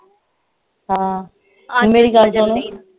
ਹਾਂ ਤੂੰ ਮੇਰੀ ਗੱਲ ਚ